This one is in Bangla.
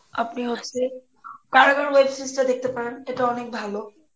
আপনি হচ্ছে, web series টা দেখতে পারেন এটা অনেক ভালো